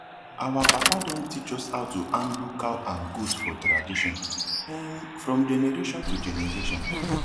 our papa don teach us how to handle cow and goat for tradition um from generation to generation